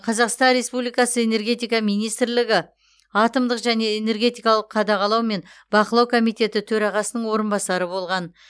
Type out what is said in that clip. қазақстан республикасы энергетика министрлігі атомдық және энергетикалық қадағалау мен бақылау комитеті төрағасының орынбасары болған